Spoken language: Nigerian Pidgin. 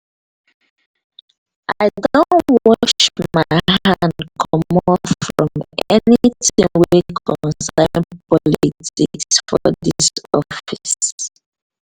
i don wash my hand comot from anytin wey concern politics for dis office.